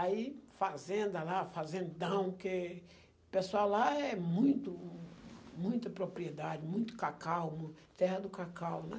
Aí fazenda lá, fazendão, porque o pessoal lá é muito, muita propriedade, muito cacau, terra do cacau, né?